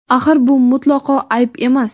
Axir bu mutlaqo ayb emas!.